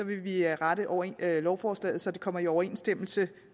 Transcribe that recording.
vi rette lovforslaget så det kommer i overensstemmelse